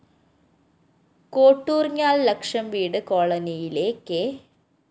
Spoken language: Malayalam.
കോട്ടൂര്‍ഞ്ഞാല്‍ ലക്ഷം വീട് കോളനിയിലെ കെ